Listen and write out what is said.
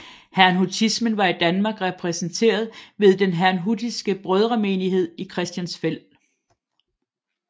Herrnhutismen var i Danmark repræsenteret ved Den herrnhutiske Brødremenighed i Christiansfeld